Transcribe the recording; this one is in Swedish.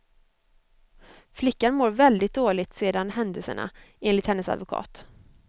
Flickan mår väldigt dåligt sedan händelserna, enligt hennes advokat.